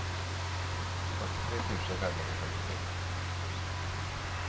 fyrtiotre tusen femhundratrettiotre